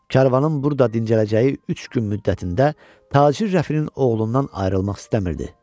Karvanın burda dincələcəyi üç gün müddətində tacir rəfinin oğlundan ayrılmaq istəmirdi.